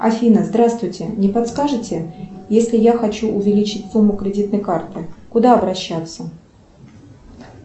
афина здравствуйте не подскажите если я хочу увеличить сумму кредитной карты куда обращаться